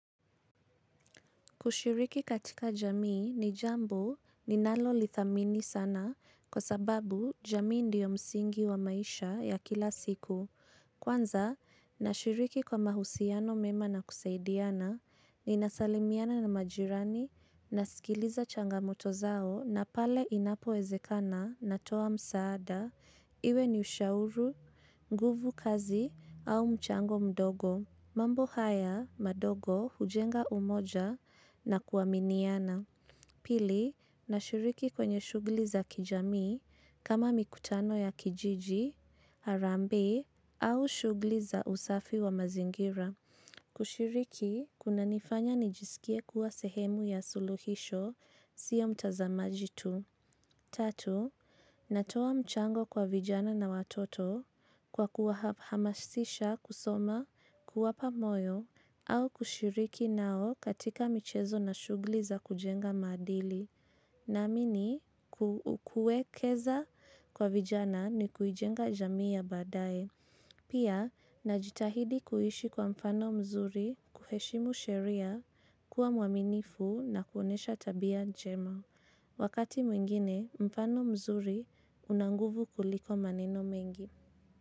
Kushiriki katika jamii ni jambo ninalolithamini sana kwa sababu jamii ndio msingi wa maisha ya kila siku. Kwanza, nashiriki kwa mahusiano mema na kusaidiana ninasalimiana na majirani nasikiliza changamoto zao na pale inapoezekana natoa msaada. Iwe ni ushauru, nguvu kazi au mchango mdogo. Mambo haya madogo hujenga umoja na kuaminiana. Pili, nashiriki kwenye shugli za kijamii kama mikutano ya kijiji, harambee au shugli za usafi wa mazingira. Kushiriki, kunanifanya nijisikie kuwa sehemu ya suluhisho, sio mtazamaji tu. Tatu, natoa mchango kwa vijana na watoto kwa kuwahamasisha kusoma kuwapa moyo au kushiriki nao katika michezo na shugli za kujenga maadili. Naamini, kuwekeza kwa vijana ni kuijenga jamii ya badae. Pia, najitahidi kuhishi kwa mfano mzuri kuheshimu sheria kuwa muaminifu na kuonesha tabia jema. Wakati mwingine, mfano mzuri una nguvu kuliko maneno mengi.